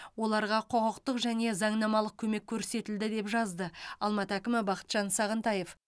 оларға құқықтық және заңнамалық көмек көрсетілді деп жазды алматы әкімі бақытжан сағынтаев